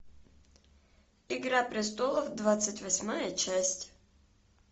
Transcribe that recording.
игра престолов двадцать восьмая часть